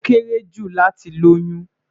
Ó kéré jù láti lóyún